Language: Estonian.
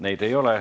Neid ei ole.